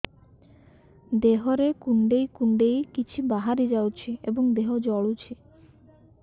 ଦେହରେ କୁଣ୍ଡେଇ କୁଣ୍ଡେଇ କିଛି ବାହାରି ଯାଉଛି ଏବଂ ଦେହ ଜଳୁଛି